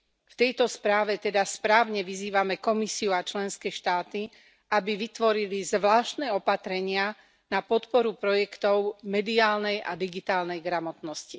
V tejto správe teda správne vyzývame Komisiu a členské štáty, aby vytvorili zvláštne opatrenia na podporu projektov mediálnej a digitálnej gramotnosti.